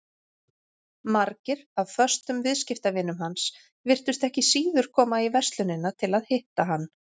Margir af föstum viðskiptavinum hans virtust ekki síður koma í verslunina til að hitta hann.